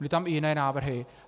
Byly tam i jiné návrhy.